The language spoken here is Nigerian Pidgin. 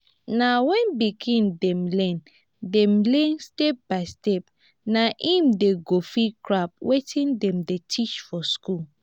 na wen pikin dem learn dem learn step-by-step na im dem go fit grab wetin dem dey teach for school.